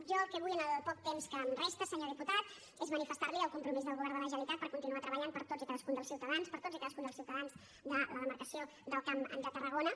jo el que vull en el poc temps que em resta senyor diputat és manifestar li el compromís del govern de la generalitat per continuar treballant per a tots i cadascun dels ciutadans per a tots i cadascun dels ciutadans de la demarcació del camp de tarragona